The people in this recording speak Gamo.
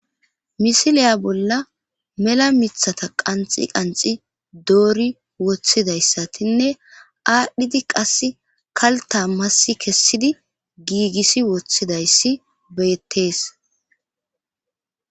Misiliya bolla mela mithata qanxi qanxi doori woththidayssatinne aadhdhidi qass kalta massi kessidi giigisi woththidayssi beyettees.